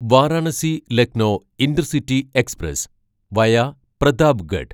Varanasi Lucknow intercity express via Pratapgarh